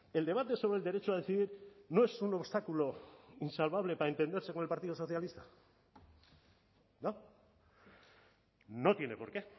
el debate sobre el derecho a decidir no es un obstáculo insalvable para entenderse con el partido socialista no tiene por qué